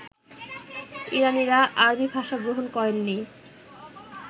ইরানীরা আরবী ভাষা গ্রহণ করেননি